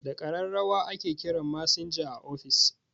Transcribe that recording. Da ƙararrawa ake kiran masinja a office